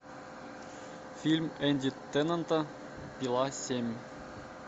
фильм энди теннанта пила семь